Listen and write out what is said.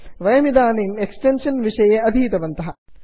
वयमिदानीम् extension विषये अधीतवन्तः